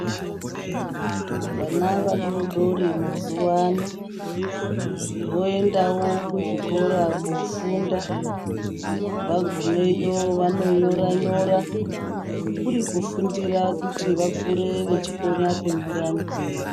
Vana vadodori mazuwano voendawo kuzvikora kofunda, vagumeyo vanonyora nyora kuri kufundira kuti vakure vechikona kunyora nekuerenga.